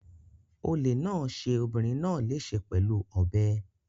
Olè náà ṣe obìnrin náà léṣe pẹ̀lú ọ̀bẹ.